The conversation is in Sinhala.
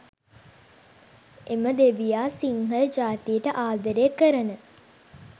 එම දෙවියා සිංහල ජාතියට ආදරය, කරන,